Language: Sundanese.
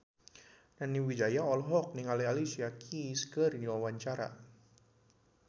Nani Wijaya olohok ningali Alicia Keys keur diwawancara